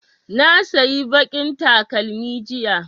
Na sayi baƙin takalmi jiya